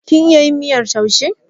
Kin iya yin miyar taushe?